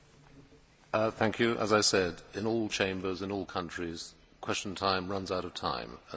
As I said, in all chambers, in all countries, Question Time runs out of time and we have run out of time.